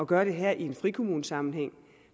gøre det her i en frikommunesammenhæng